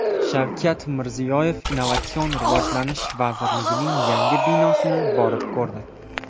Shavkat Mirziyoyev Innovatsion rivojlanish vazirligining yangi binosini borib ko‘rdi .